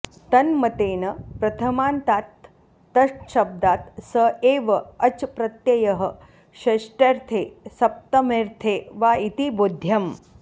तन्मतेन प्रथमान्तात् तच्छब्दात् स एव अच् प्रत्ययः षष्ट्यर्थे सप्तम्यर्थे वा इति बोध्यम्